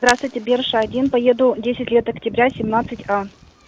здравствуйте берша один поеду десят лет октября семнадцать а